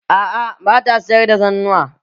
A'a ba ta sayar da zannuwa.